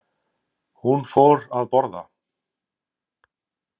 Hún fór að borða.